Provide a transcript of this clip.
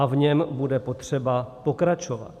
A v něm bude potřeba pokračovat.